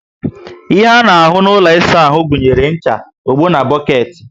Ihe a ná ahu na ụlọ ịsa áhù gụnyere ncha, ogbo, boketi